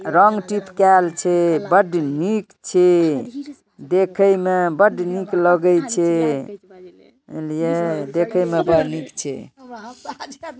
रंग चिपकेल छे बढ़ निक छे देखे में बढ़ निक लगे छे और ये देखे में बढ़ निक छे|